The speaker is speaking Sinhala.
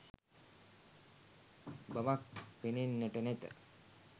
බවක් පෙනෙන්නට නැත.